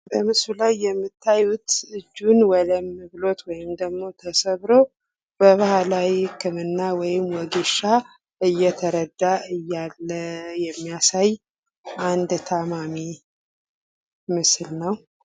በምስሉ ላይ የምታዩት እጁን ወለም ብሎት ወይም ደግሞ ተሰብሮ በባህላዊ ህክምና ወይም ወጌሻ እየተረዳ እያለ የሚያሳይ አንድ ታማሚ ምስል ነው።